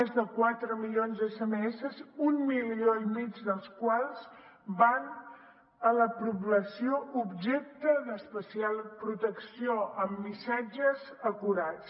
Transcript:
més de quatre milions d’sms un milió i mig dels quals van a la població objecte d’especial protecció amb missatges acurats